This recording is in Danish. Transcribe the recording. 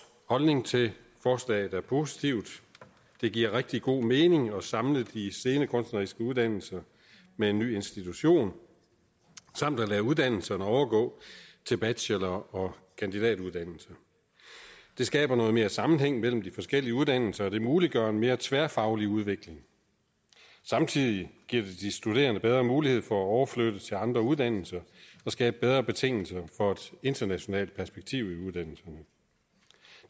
holdning til forslaget er positiv det giver rigtig god mening at samle de scenekunstneriske uddannelser med en ny institution samt at lade uddannelserne overgå til bachelor og kandidatuddannelse det skaber noget mere sammenhæng mellem de forskellige uddannelser og det muliggør en mere tværfaglig udvikling samtidig giver det de studerende bedre mulighed for at overflytte til andre uddannelser og skaber bedre betingelser for et internationalt perspektiv